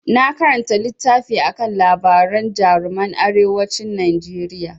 Na karanta littafi akan labaran jaruman arewacin Najeriya.